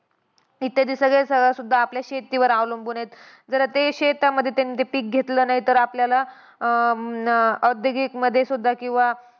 इत्यादी सगळं सगळं सुद्धा आपल्या शेतीवर अवलंबून आहेत. जर ते शेतामध्ये त्यांनी ते पिक घेतले नाही तर आपल्याला अं अं औद्योगिकमध्ये सुद्धा किंवा